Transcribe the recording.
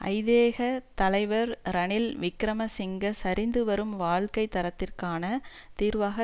ஐதேக தலைவர் ரணில் விக்கிரமசிங்க சரிந்து வரும் வாழ்க்கை தரத்திற்கான தீர்வாக